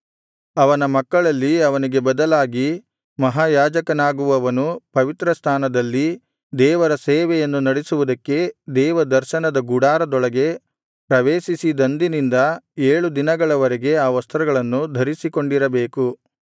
ಅವನ ಮಕ್ಕಳಲ್ಲಿ ಅವನಿಗೆ ಬದಲಾಗಿ ಮಹಾಯಾಜಕನಾಗುವವನು ಪವಿತ್ರಸ್ಥಾನದಲ್ಲಿ ದೇವರ ಸೇವೆಯನ್ನು ನಡೆಸುವುದಕ್ಕೆ ದೇವದರ್ಶನದ ಗುಡಾರದೊಳಗೆ ಪ್ರವೇಶಿಸಿದಂದಿನಿಂದ ಏಳು ದಿನಗಳವರೆಗೆ ಆ ವಸ್ತ್ರಗಳನ್ನು ಧರಿಸಿಕೊಂಡಿರಬೇಕು